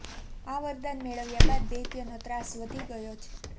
આ વરદાન મેળવ્યા બાદ દૈત્યનો ત્રાસ ઘણો વધી ગયો